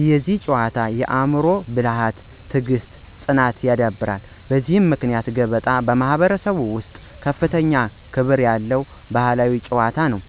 ይህ ጨዋታ የአእምሮ ብልሃትን፣ ትዕግሥትን እና ፅናትን ያዳብራል። በዚህ ምክንያት ገበጣ በማኅበረሰባችን ውስጥ ከፍተኛ ክብር ያለው ባሕላዊ ጨዋታ ነው።